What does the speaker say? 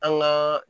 An gaa